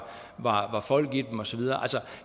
folk i dem og så videre altså